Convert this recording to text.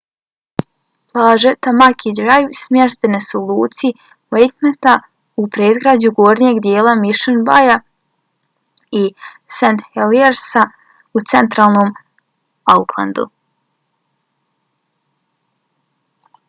plaže tamaki drive smještene su u luci waitemata u predgrađu gornjeg dijela mission bayja i st heliersa u centralnom aucklandu